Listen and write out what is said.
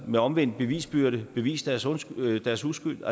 med omvendt bevisbyrde bevise deres uskyld deres uskyld